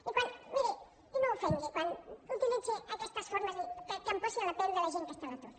i miri no ofengui quan utilitzi aquestes formes de dir que em posi en la pell de la gent que està a l’atur